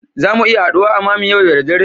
Zamu iya haduwa a mammy yau da dare